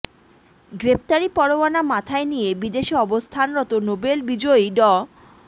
গ্রেপ্তারি পরোয়ানা মাথায় নিয়ে বিদেশে অবস্থানরত নোবেল বিজয়ী ড